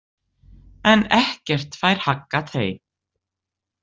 En ekkert fær haggað þeim.